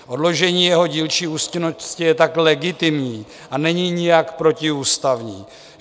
Odložení jeho dílčí účinnosti je tak legitimní a není nijak protiústavní.